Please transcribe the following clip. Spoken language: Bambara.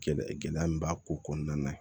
Gɛlɛya gɛlɛya min b'a ko kɔnɔna na